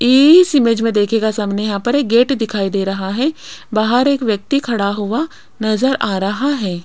इस इमेज में दिखेगा सामने यहां पर गेट दिखाई दे रहा है बाहर एक व्यक्ति खड़ा हुआ नजर आ रहा है।